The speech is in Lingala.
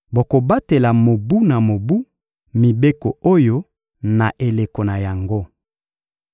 Bokobatela mobu na mobu mibeko oyo na eleko na yango.